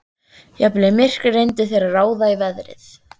Jafnvel í myrkri reyndu þeir að ráða í veðrið.